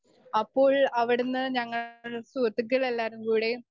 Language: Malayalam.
സ്പീക്കർ 1 അപ്പോൾ അവിടുന്ന് ഞങ്ങൾ സുഹൃത്തുക്കൾ എല്ലാരും കൂടി